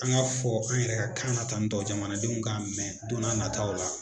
An k'a fɔ an yɛrɛ ka kan na tan tɔ jamanadenw k'a mɛn don na nataaw la